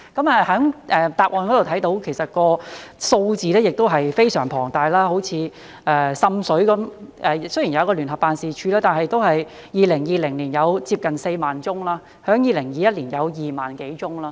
在答覆中看到，數字也是非常龐大，以滲水為例，雖然有聯辦處，但2020年都有接近4萬宗投訴，在2021年有2萬多宗。